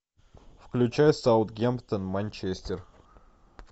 включай саутгемптон манчестер